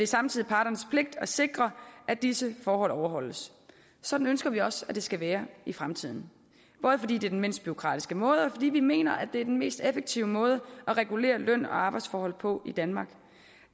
samtidig parternes pligt at sikre at disse forhold overholdes sådan ønsker vi også at det skal være i fremtiden både fordi det er den mindst bureaukratiske måde og fordi vi mener det er den mest effektive måde at regulere løn og arbejdsforhold på i danmark